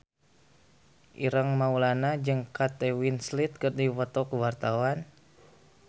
Ireng Maulana jeung Kate Winslet keur dipoto ku wartawan